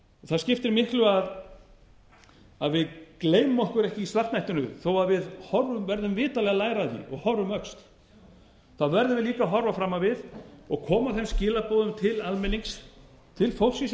það skiptir miklu að við gleymum okkur ekki í svartnættinu þó að við verðum vitanlega að læra af því og horfa um öxl verðum við líka að horfa fram á við og koma þeim skilaboðum til almennings til fólksins í